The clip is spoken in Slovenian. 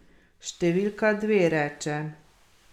Številka dve, reče.